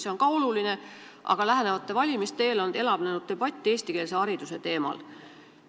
See on ka oluline, aga lähenevate valimiste eel on meil siin elavnenud debatt eestikeelse hariduse teemal.